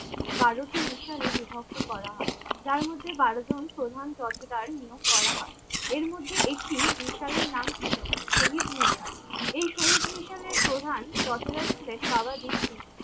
বারোটি মিশালে বিভক্ত করা হয় যার মধ্যে বারোজন প্রধান যথোযাই নিয়োগ করা হয় এর মধ্যে একটি মিসালের নাম ছিল শহীদ মিশাল এ শহীদ মিশাল এর প্রধান যোথজার ছিলেন বাবা দ্বীপ সিং